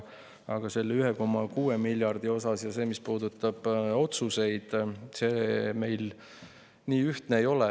Aga selle 1,6 miljardi puhul, mis puudutab otsuseid, meil nii ühtne ei ole.